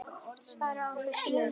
Svarið var á þessa leið